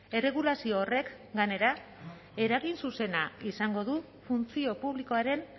erregulazio horrek gainera eragin zuzena izango du funtzio publikoaren